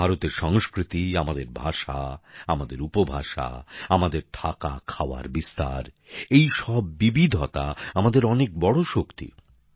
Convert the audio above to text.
ভারতের সংস্কৃতি আমাদের ভাষা আমাদের উপভাষা আমাদের থাকাখাওয়ার অভ্যাস এইসব বিবিধতা আমাদের অনেক বড় শক্তি